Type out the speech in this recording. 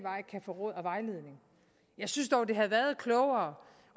få råd og vejledning jeg synes dog det havde været klogere